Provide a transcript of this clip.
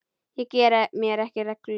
Ég geri mér ekki rellu.